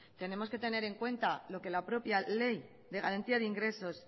tenemos que tener en cuenta lo que la propia ley de garantía de ingresos